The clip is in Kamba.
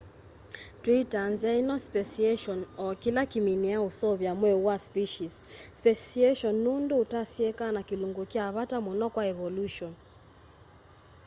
twitaa nzia ino speciation o kila kiminiaa useuvya mweu wa species speciation nundu utasieeka na kilungu kya vata muno kwa evolution